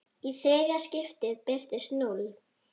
Í þriðja skiptið birtist núll.